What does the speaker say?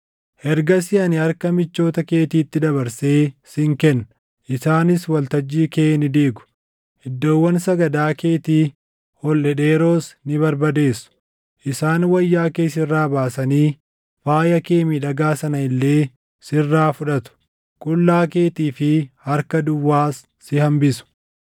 Ergasii ani harka michoota keetiitti dabarsee sin kenna; isaanis waltajjii kee ni diigu; iddoowwan sagadaa keetii ol dhedheeroos ni barbadeessu. Isaan wayyaa kee sirraa baasanii faaya kee miidhagaa sana illee sirraa fudhatu; qullaa keetii fi harka duwwaas si hambisu.